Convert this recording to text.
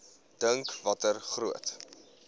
dink watter groot